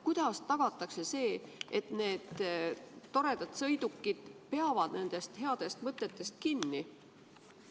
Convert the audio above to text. Kuidas tagatakse, et need toredad sõidukid peavad nendest headest mõtetest kinni?